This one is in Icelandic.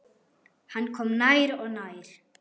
Hann kom nær og nær.